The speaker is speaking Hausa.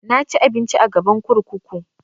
Na ci abinci a gaban kurkuku